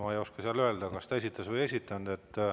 Ma ei oska öelda, kas ta seda esitas või ei esitanud.